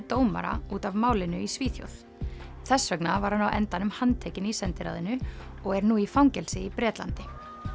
dómara út af málinu í Svíþjóð þess vegna var hann á endanum handtekinn í sendiráðinu og er nú í fangelsi í Bretlandi